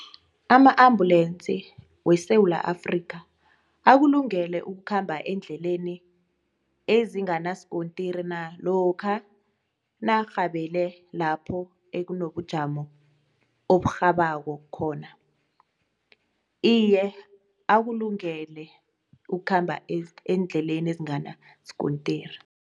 Ama-ambulensi weSewula Afrika akulungele ukukhamba eendleleni ezinganaskontiri na lokha narhabele lapho ekunobujamo oburhabako khona? Iye, akulungele ukukhamba eendleleni ezinganaskontiri.